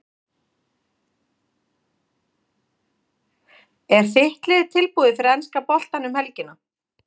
Er þitt lið tilbúið fyrir enska boltann um helgina?